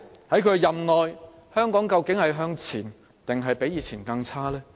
在她任內，香港會向前還是較以往更差呢？